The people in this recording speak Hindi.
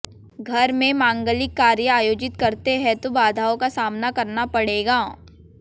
घर में मांगलिक कार्य आयोजित करते हैं तो बाधाओं का सामना करना पड़ेगा